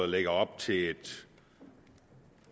lægger op til et